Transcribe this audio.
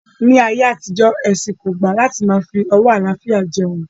Ní ayé àtijó, ẹ̀sìn kò gbà láti máa fi ọwó àlàáfíà jeun